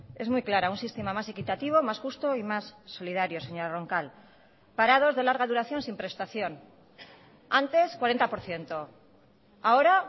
es muy clara un sistema más equitativo más justo y más solidario señora roncal parados de larga duración sin prestación antes cuarenta por ciento ahora